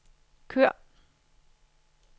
kør